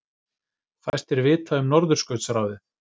Fæstir vita um Norðurskautsráðið